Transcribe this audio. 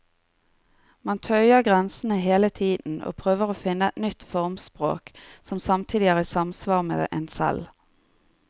Man tøyer grensene hele tiden og prøver å finne et nytt formspråk som samtidig er i samsvar med en selv.